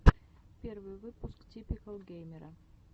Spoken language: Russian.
первый выпуск типикал геймера